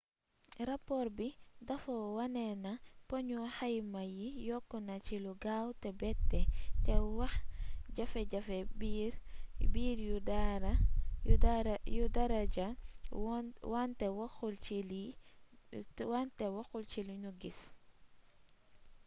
rapoor bi dafa wone na poñu xayma yi yokku na ci lu gaaw te bette te waxjafe-jafe biir yu daara ja wante waxul ci li nu gis